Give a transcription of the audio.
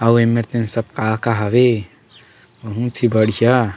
अऊ मेर तेन सब का-का हवे बहुत ही बढ़िया--